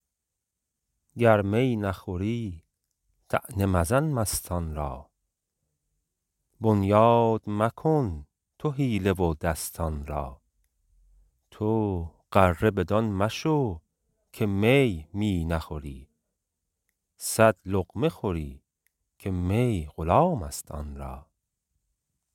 گر می نخوری طعنه مزن مستان را بنیاد مکن تو حیله و دستان را تو غره بدان مشو که می می نخوری صد لقمه خوری که می غلام است آن را